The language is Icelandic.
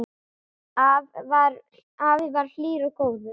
Afi var hlýr og góður.